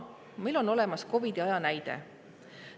Meil on olemas COVID‑i aja näide.